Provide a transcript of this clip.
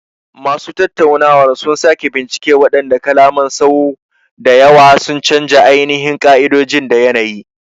Masu tattaunawar sun sake bincika waɗannan kalaman sau da yawa, sun canja ainihin ƙa'idoji da yanayi.